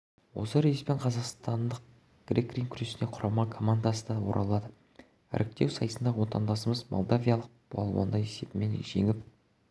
осы рейспен қазақстанның грек-рим күресінен құрама командасы да оралады іріктеу сайысында отандасымыз молдавиялық балуанды есебімен жеңіп